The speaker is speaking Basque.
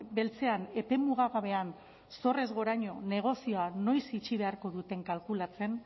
beltzean epe mugagabean zorrez goraino negozioa noiz itxi beharko duten kalkulatzen